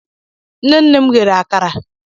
Nne nne m ghere akara.